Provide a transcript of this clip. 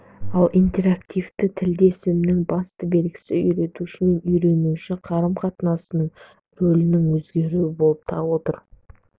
ал интерактивті тілдесімнің басты белгісі үйретуші мен үйренуші қарым-қатынасының рөлдерінің өзгеруінде болып отыр